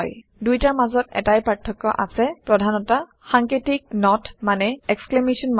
দুইটাৰ মাজত এটাই পাৰ্থক্য - প্ৰধানতা সাঙ্কেতিক নত মানে 160